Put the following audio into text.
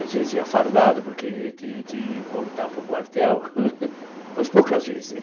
Às vezes ia fardado porque tinha que voltar para o quartel, mas poucas vezes né.